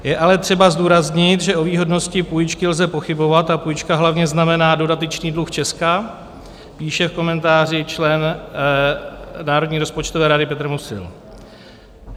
Je ale třeba zdůraznit, že o výhodnosti půjčky lze pochybovat a půjčka hlavně znamená dodatečný dluh Česka", píše v komentáři člen Národní rozpočtové rady Petr Musil.